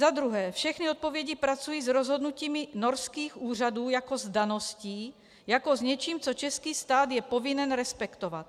Za druhé, všechny odpovědi pracují s rozhodnutími norských úřadů jako s daností, jako s něčím, co český stát je povinen respektovat.